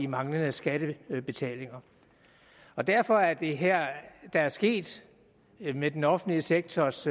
manglende skattebetalinger derfor er det her der er sket med den offentlige sektors